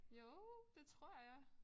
Jo det tror jeg